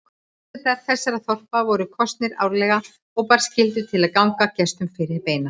Forsetar þessara þorpa voru kosnir árlega og bar skylda til að ganga gestum fyrir beina.